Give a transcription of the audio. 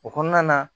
O kɔnɔna na